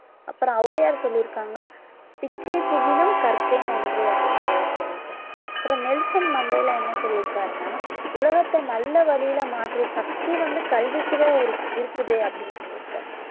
அப்புறம் ஔவையார் சொல்லி இருக்காங்க பிச்சை புகினும் கற்கை நன்றே அப்படின்னு ஔவையார் சொல்லி இருக்காங்க அப்புறம் நெல்சன் மண்டேலா என்ன சொல்லி இருக்காரு அப்படின்னா உலகத்தை நல்ல வழியில மாற்றும் சக்தி வந்து கல்விக்கு தான் இரு~ இருக்குது அப்படின்னு சொல்லி இருக்காரு